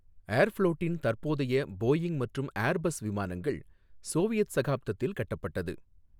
ஏர்ஃப்ளோட்டின் தற்போதைய போயிங் மற்றும் ஏர்பஸ் விமானங்கள் சோவியத் சகாப்தத்தில் கட்டப்பட்டது.